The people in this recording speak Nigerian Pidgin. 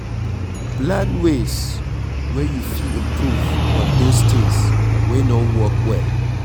Plan ways wey you fit improve on those things wey no work well